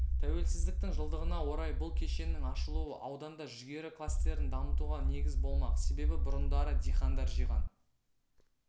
тәуелсіздіктің жылдығына орай бұл кешеннің ашылуы ауданда жүгері кластерін дамытуға негіз болмақ себебі бұрындары дихандар жиған